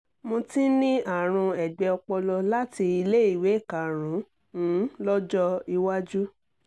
mo ti ń ní àrùn ẹ̀gbẹ́ ọpọlọ láti iléèwé karùn - ún lọ́jọ́ iwájú